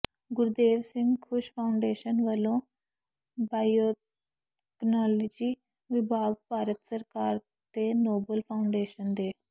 Gurdev Singh Khush foundation ਵੱਲੋਂ biotechnology ਵਿਭਾਗ ਭਾਰਤ ਸਰਕਾਰ ਤੇ ਨੋਬਲ ਫਾਊਂਡੇਸ਼ਨ ਦੇ